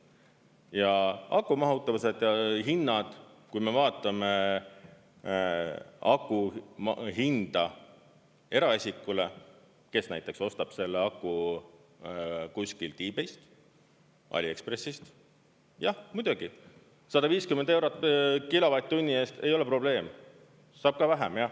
Ja aku mahutavused ja hinnad, kui me vaatame aku hinda eraisikule, kes näiteks ostab selle aku kuskilt Ebayst, AliExpressist – jah, muidugi, 150 eurot kilovatt-tunni eest ei ole probleem, saab ka vähem.